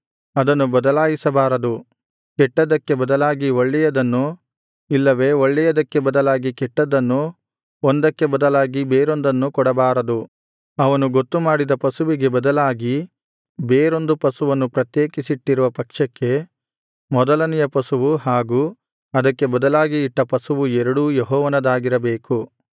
ಅದನ್ನು ಬದಲಾಯಿಸಬಾರದು ಕೆಟ್ಟದ್ದಕ್ಕೆ ಬದಲಾಗಿ ಒಳ್ಳೆಯದನ್ನೂ ಇಲ್ಲವೇ ಒಳ್ಳೆಯದಕ್ಕೆ ಬದಲಾಗಿ ಕೆಟ್ಟದ್ದನ್ನೂ ಒಂದಕ್ಕೆ ಬದಲಾಗಿ ಬೇರೊಂದನ್ನೂ ಕೊಡಬಾರದು ಅವನು ಗೊತ್ತುಮಾಡಿದ ಪಶುವಿಗೆ ಬದಲಾಗಿ ಬೇರೊಂದು ಪಶುವನ್ನು ಪ್ರತ್ಯೇಕಿಸಿಟ್ಟಿರುವ ಪಕ್ಷಕ್ಕೆ ಮೊದಲನೆಯ ಪಶುವೂ ಹಾಗೂ ಅದಕ್ಕೆ ಬದಲಾಗಿ ಇಟ್ಟ ಪಶುವೂ ಎರಡೂ ಯೆಹೋವನದಾಗಿರಬೇಕು